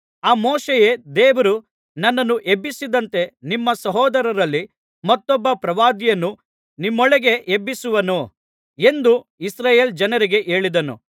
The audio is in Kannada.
ಆ ಮೋಶೆಯೇ ದೇವರು ನನ್ನನ್ನು ಎಬ್ಬಿಸಿದಂತೆ ನಿಮ್ಮ ಸಹೋದರರಲ್ಲಿ ಮತ್ತೊಬ್ಬ ಪ್ರವಾದಿಯನ್ನು ನಿಮ್ಮೊಳಗೆ ಎಬ್ಬಿಸುವನು ಎಂದು ಇಸ್ರಾಯೇಲ್ ಜನರಿಗೆ ಹೇಳಿದನು